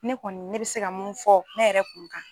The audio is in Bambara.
Ne kɔni ne bɛ se ka mun fɔ ne yɛrɛ kun kan.